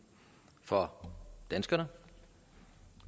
for danskerne